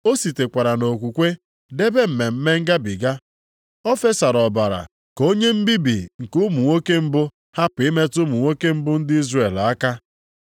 O sitekwara nʼokwukwe debe Mmemme Ngabiga. O fesara ọbara ka onye mbibi nke ụmụ nwoke mbụ, hapụ ịmetụ ụmụ nwoke mbụ ndị Izrel aka.